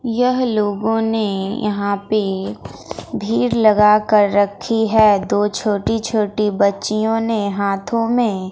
यह लोगों ने यहां पे भीड़ लगा कर रखी है दो छोटी छोटी बच्चियों ने हाथों में--